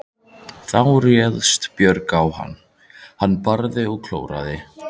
Þá réðst Björg á hann, barði hann og klóraði.